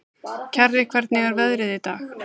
Kjarri, hvernig er veðrið í dag?